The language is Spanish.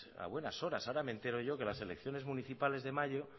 a buenas horas ahora me entero yo que las elecciones municipales de mayo